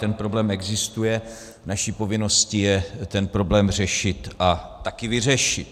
Ten problém existuje, naší povinností je ten problém řešit a také vyřešit.